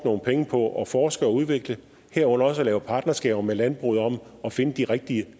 nogle penge på at forske og udvikle herunder også at lave partnerskaber med landbruget om at finde de rigtige